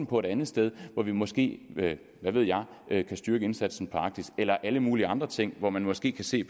på et andet sted hvor vi måske hvad ved jeg kan styrke indsatsen i arktis eller på alle mulige andre ting hvor man måske kan se